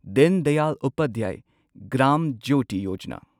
ꯗꯤꯟ ꯗꯌꯥꯜ ꯎꯄꯥꯙ꯭ꯌꯥꯢ ꯒ꯭ꯔꯥꯝ ꯖ꯭ꯌꯣꯇꯤ ꯌꯣꯖꯥꯅꯥ